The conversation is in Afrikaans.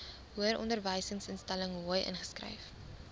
hoëronderwysinstelling hoi ingeskryf